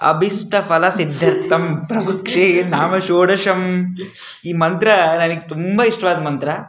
ಅಭಿಸ್ಟಫಲ ಸಿಧ್ಯರ್ಥಂ ಪ್ರಭು ಕ್ಷೇ ಧಾಮ ಷೋಡಶಂ ಈ ಮಂತ್ರ ನನಗೆ ತುಂಬಾ ಇಷ್ಟವಾದ ಮಂತ್ರ.